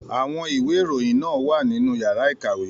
Àwọn ìwé ìròyìn náà wà nínú yàrá ìkàwé.